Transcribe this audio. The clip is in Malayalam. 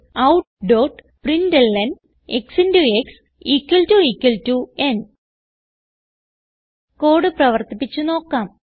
Systemoutprintlnക്സ് ക്സ് ന് കോഡ് പ്രവർത്തിപ്പിച്ച് നോക്കാം